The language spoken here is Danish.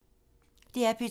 DR P2